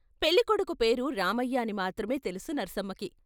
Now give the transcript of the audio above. పెళ్ళికొడుకు పేరు రామయ్య అని మాత్రమే తెలుసు నర్సమ్మకి.